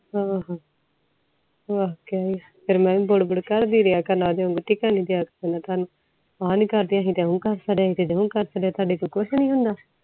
ਹਮ ਫੇਰ ਮੈਂ ਵੀ ਬੁੜ ਬੁੜ ਕਰਦੇ ਰਿਹਾ ਕਰਨਾ ਟਿਕਣ ਨੀ ਡਾ ਕਰਨਾ ਤੁਹਾਨੂੰ ਆਹ ਨੀ ਕਰਦਿਆਂ ਕੀਤੇ ਉਹ ਕਰਦਿਆਂ ਟੌਹੜੇ ਤੋਂ ਕੁਛ ਨੀ ਹੁੰਦਾ